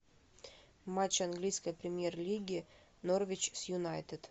матч английской премьер лиги норвич с юнайтед